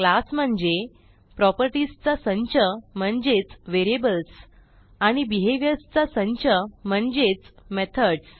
class म्हणजे properties चा संच म्हणजेच व्हेरिएबल्स आणि बिहेव्हियर्स चा संच म्हणजेच मेथडस